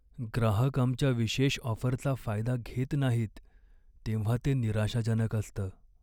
ग्राहक आमच्या विशेष ऑफरचा फायदा घेत नाहीत तेव्हा ते निराशाजनक असतं.